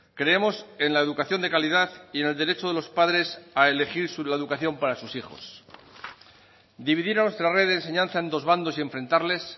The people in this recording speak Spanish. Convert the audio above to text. creemos en la educación de calidad y en el derecho de los padres a elegir la educación para sus hijos dividir a nuestra red de enseñanza en dos bandos y enfrentarles